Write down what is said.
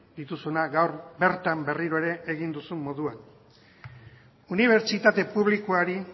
dituzuna gaur bertan berriro ere egin duzun moduan unibertsitate publikoari